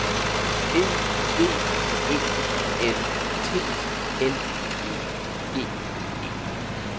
E G E N T L I G E